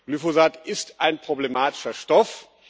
Glyphosat ist ein problematischer Stoff.